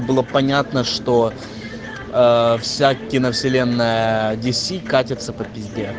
было понятно что ээ вся киновселенная диси катится по пизде